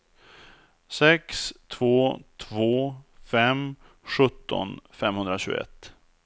sex två två fem sjutton femhundratjugoett